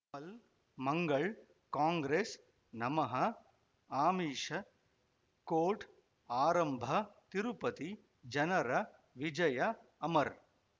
ಮಲ್ ಮಂಗಳ್ ಕಾಂಗ್ರೆಸ್ ನಮಃ ಅಮಿಷ್ ಕೋರ್ಟ್ ಆರಂಭ ತಿರುಪತಿ ಜನರ ವಿಜಯ ಅಮರ್